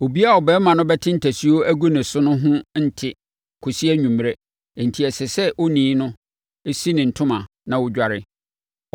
“ ‘Obiara a ɔbarima no bɛte ntasuo agu ne so no ho nte kɔsi anwummerɛ enti ɛsɛ sɛ onii no si ne ntoma na ɔdware.